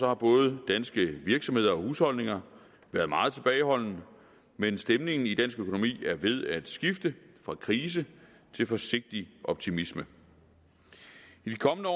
har både danske virksomheder og husholdninger været meget tilbageholdende men stemningen i dansk økonomi er ved at skifte fra krise til forsigtig optimisme i de kommende år